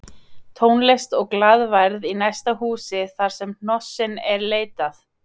Tónlist og glaðværð í næsta húsi þarsem hnossins er leitað